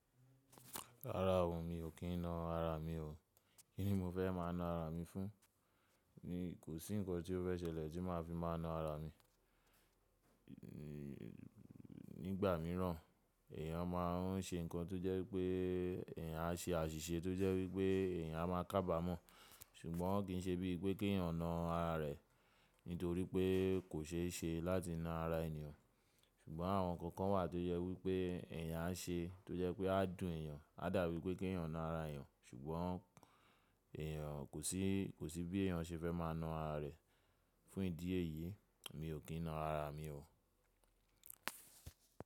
Rárá o, mi ò kí ń na ara mi o. Kí ni mo fẹ́ má a na ara mi fún? Ni kò sí nǹkan tí ó fẹ́ ṣẹlẹ̀ tí máa fi má a na ara mi. Ni ìgbà mìíràn èèyàn má a ń ṣe nǹkan tó jẹ́ pé èèyàn á ṣe àṣìṣe tó jẹ́ wípé èèyàn má a kábàámọ̀. Ṣùgbọ́n kì í ṣe bí i pé kí èèyàn na ara rẹ̀, nítorí pé kò ṣeéṣe láti na ara ènìyàn. Ṣùgbọ́n àwọn nǹkan kan wà tó yẹ wípé èèyàn á ṣe tó jẹ́ pé á dùn èèyàn, á dàrú wípé kí èèyàn na ara èèyàn, ṣùgbọ́n èèyàn kò sí, kò sí bí èèyàn ṣe fẹ́ má a na ara rẹ̀. Fún ìdí èyí, mi ò kí ń na ara mi o.